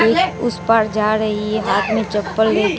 एक उस पार जा रही है हाथ में चप्पल ले --